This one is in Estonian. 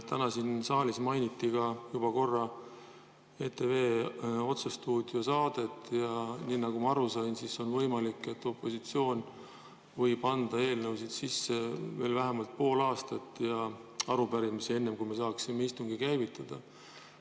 Täna mainiti siin saalis juba korra ETV otsesaadet ja nagu ma aru sain, on võimalik, et opositsioon võib anda eelnõusid ja arupärimisi sisse veel vähemalt pool aastat, enne kui me saaksime istungi käivitada.